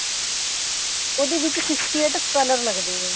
ਉਹਦੇ ਵਿੱਚ sixty eight color ਲੱਗਦੇ ਐ